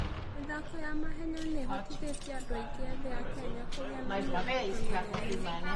mĩthako ya mahenya nĩ ĩhotithĩtie andũ aingĩ ethĩ a Kenya kũgĩa na mĩoroto mĩnene.